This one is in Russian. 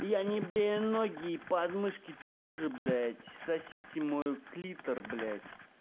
я не брею ноги и подмышки тоже блять сосите мой клитор блять